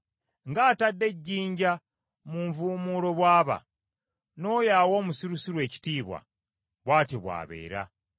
Ng’atadde ejjinja mu nvuumuulo bw’aba, n’oyo awa omusirusiru ekitiibwa bw’atyo bw’abeera.